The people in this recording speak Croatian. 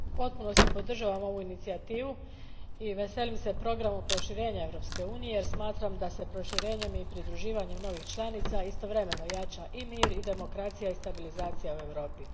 Gospođo predsjednice, u potpunosti podržavam ovu inicijativu i veselim se programu proširenja Europske unije jer smatram da se proširenjem i pridruživanjem novih članica istovremeno jača i mir i demokracija i stabilizacija u Europi.